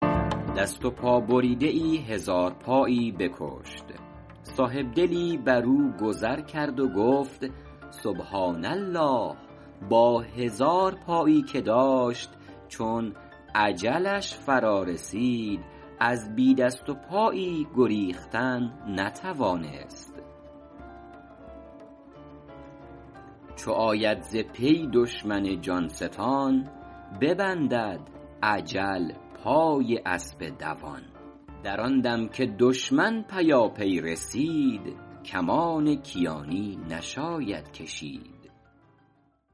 دست و پا بریده ای هزارپایی بکشت صاحبدلی بر او گذر کرد و گفت سبحٰان الله با هزار پای که داشت چون اجلش فرا رسید از بی دست و پایی گریختن نتوانست چو آید ز پی دشمن جان ستان ببندد اجل پای اسب دوان در آن دم که دشمن پیاپی رسید کمان کیانی نشاید کشید